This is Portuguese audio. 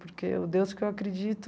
Porque o Deus que eu acredito...